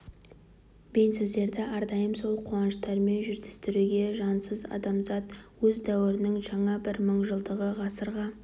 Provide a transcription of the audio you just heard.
бен біздерді әрдайым сол қуаныштармен жүздестіруге жазсын адамзат өз дәуірінің жаңа бір мың жылдығы ғасырға